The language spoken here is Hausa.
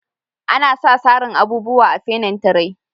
Ana sa sarin abubuwa a'finintire.